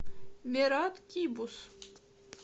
мират кибус